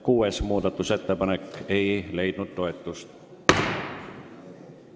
Kuues ettepanek ei leidnud toetust.